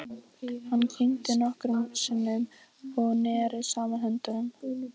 Hann kyngdi nokkrum sinnum og neri saman höndunum.